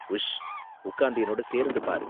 உஷ்! உக்காந்து என்னோட சேர்ந்து பாரு.